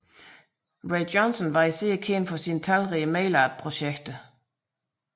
Ray Johnson var især kendt for sine talrige mail art projekter